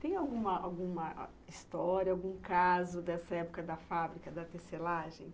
Tem alguma, alguma, história, algum caso dessa época da fábrica da tecelagem?